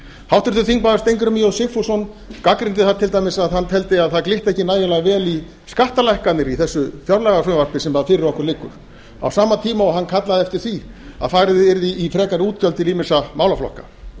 háttvirtur þingmaður steingrímur j sigfússon gagnrýndi það til dæmis að hann teldi að það glitti ekki nægilega vel í skattalækkanir í þessu fjárlagafrumvarpi sem fyrir okkur liggur á sama tíma og hann kallaði eftir því að farið yrði í frekari útgjöld til ýmissa málaflokka